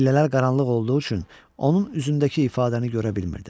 Pillələr qaranlıq olduğu üçün onun üzündəki ifadəni görə bilmirdim.